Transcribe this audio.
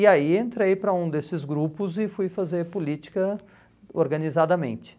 E aí entrei para um desses grupos e fui fazer política organizadamente.